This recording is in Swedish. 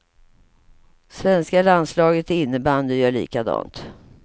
Svenska landslaget i innebandy gör likadant.